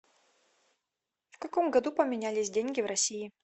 в каком году поменялись деньги в россии